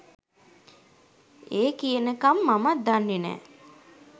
ඒ කියනකම් මමත් දන්නේ නෑ.